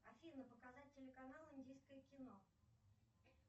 афина показать телеканал индийское кино